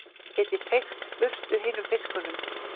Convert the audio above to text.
Geti feykt burtu hinum fiskunum.